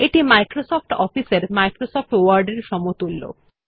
এটি Microsoft Office এর Microsoft Word এর সমতুল্য